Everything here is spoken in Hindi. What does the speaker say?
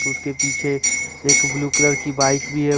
उसके पीछे एक ब्लू कलर की बाइक भी है।